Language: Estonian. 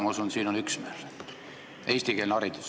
Ma usun, siin on üksmeel – eestikeelne haridus.